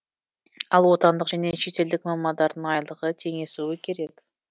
ал отандық және шетелдік мамандардың айлығы теңесуі керек